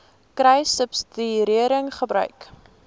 kruissubsidiëringgebruik